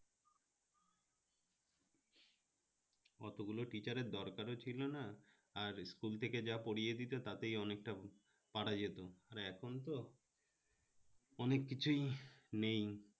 অতোগুলো teacher এর দরকার ও ছিলো না আর school থেকে যা পড়িয়ে দিতো তাতেই অনেকটা পারা যেতো আর এখন তো অনেক কিছুই নেই